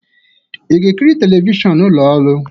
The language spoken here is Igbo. Ị ga-ekiri telivishọn n'ụlọ ọrụ?